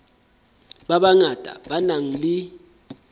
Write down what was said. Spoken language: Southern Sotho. ba bangata ba nang le